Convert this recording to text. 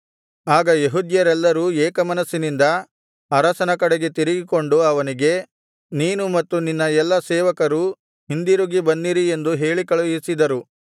ಆಗ ಯೆಹೂದ್ಯರೆಲ್ಲರೂ ಏಕಮನಸ್ಸಿನಿಂದ ಅರಸನ ಕಡೆಗೆ ತಿರುಗಿಕೊಂಡು ಅವನಿಗೆ ನೀನು ಮತ್ತು ನಿನ್ನ ಎಲ್ಲಾ ಸೇವಕರೂ ಹಿಂದಿರುಗಿ ಬನ್ನಿರಿ ಎಂದು ಹೇಳಿಕಳುಹಿಸಿದರು